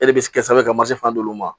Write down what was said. E de bɛ se ka sɛbɛn ka masfan d'olu ma